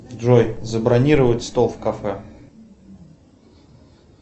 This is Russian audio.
джой забронировать стол в кафе